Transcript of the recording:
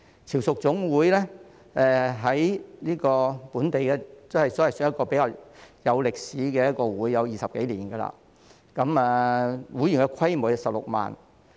潮屬總會是本地一個歷史悠久的同鄉會，已有20多年歷史，會員人數達16萬。